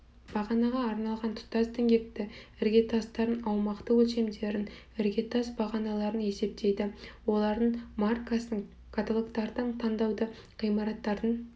бағанаға арналған тұтас діңгекті іргетастардың аумақты өлшемдерін іргетас бағаналарын есептейді олардың маркасын каталогтардан таңдауды ғимараттардың